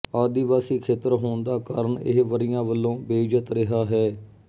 ਆਦਿਵਾਸੀ ਖੇਤਰ ਹੋਣ ਦਾ ਕਾਰਨ ਇਹ ਵਰ੍ਹੀਆਂ ਵਲੋਂ ਬੇਇੱਜਤ ਰਿਹਾ ਹੈ